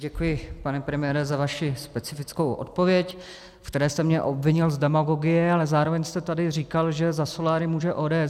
Děkuji, pane premiére, za vaši specifickou odpověď, ve které jste mě obvinil z demagogie, ale zároveň jste tady říkal, že za soláry může ODS.